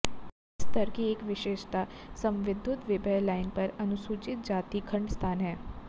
इस स्तर की एक विशेषता समविद्युतविभव लाइन पर अनुसूचित जनजाति खंड स्थान है